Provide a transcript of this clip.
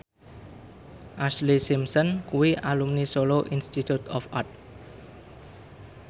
Ashlee Simpson kuwi alumni Solo Institute of Art